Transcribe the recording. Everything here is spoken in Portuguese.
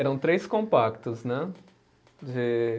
Eram três compactos, né? De